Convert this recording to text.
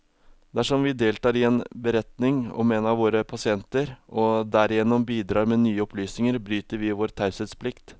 Dersom vi deltar i en beretning om en av våre pasienter, og derigjennom bidrar med nye opplysninger, bryter vi vår taushetsplikt.